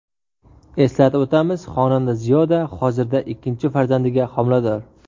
Eslatib o‘tamiz, xonanda Ziyoda hozirda ikkinchi farzandiga homilador .